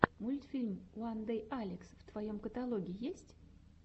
мультфильм уандэйалекс в твоем каталоге есть